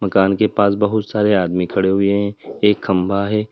कान के पास बहुत सारे आदमी खड़े हुए हैं एक खंभा है।